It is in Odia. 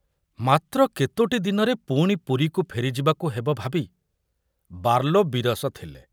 ମାତ୍ର କେତୋଟି ଦିନରେ ପୁଣି ପୁରୀକୁ ଫେରିଯିବାକୁ ହେବ ଭାବି ବାର୍ଲୋ ବିରସ ଥିଲେ।